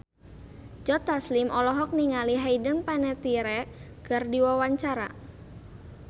Joe Taslim olohok ningali Hayden Panettiere keur diwawancara